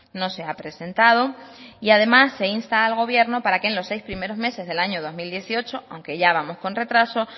no se ha presentado y además se insta al gobierno para que en los seis primeros meses del año dos mil dieciocho aunque ya vamos con retraso